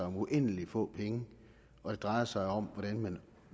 om uendelig få penge og det drejer sig om hvordan man